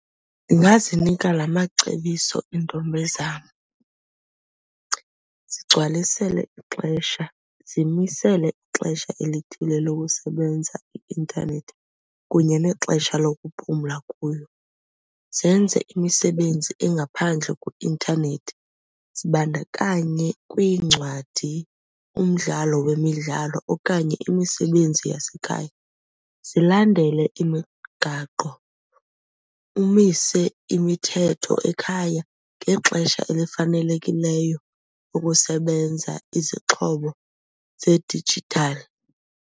Ndingazinika la macebiso iintombi zam. Zigcwalisele ixesha, zimisele ixesha elithile lokusebenza i-intanethi kunye nexesha lokuphumla kuyo. Zenze imisebenzi engaphandle kwi-intanethi, zibandakanye kwiincwadi, umdlalo wemidlalo okanye imisebenzi yasekhaya. Zilandele imigaqo, umise imithetho ekhaya ngexesha elifanelekileyo ukusebenza izixhobo zedijithali.